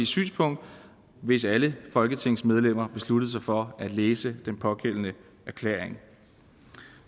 synspunkt hvis alle folketingsmedlemmer besluttede sig for at læse den pågældende erklæring